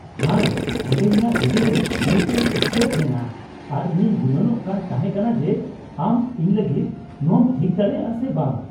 ᱦᱟᱭ ᱚᱸᱰᱮ ! ᱤᱧᱟᱹᱜ ᱜᱟᱹᱰᱤ ᱨᱮ ᱢᱤᱫᱴᱟᱝ ᱥᱠᱨᱮᱯ ᱢᱮᱱᱟᱜᱼᱟ, ᱟᱨ ᱤᱧᱤᱧ ᱜᱩᱱᱟᱹᱱᱚᱜ ᱠᱟᱱ ᱛᱟᱸᱦᱮ ᱠᱟᱱᱟ ᱡᱮ ᱟᱢ ᱤᱧ ᱞᱟᱹᱜᱤᱫ ᱱᱚᱶᱟᱢ ᱴᱷᱤᱠ ᱫᱟᱲᱮᱭᱟᱜᱼᱟ ᱥᱮ ᱵᱟᱝ ᱾